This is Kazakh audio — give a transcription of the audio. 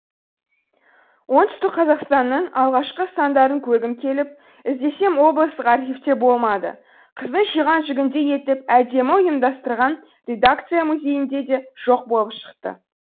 оңтүстік қазақстанның алғашқы сандарын көргім келіп іздесем облыстық архивте болмады қыздың жиған жүгіндей етіп әдемі ұйымдастырған редакция музейінде де жоқ болып шықты